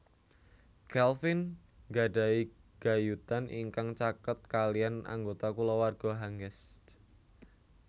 Calvin nggadhahi gayutan ingkang caket kaliyan anggota kulawarga Hangest